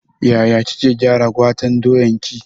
Ya kike gyara gwaten doyan ki?